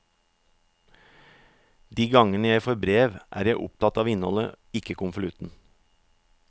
De gangene jeg får brev er jeg opptatt av innholdet, ikke konvolutten.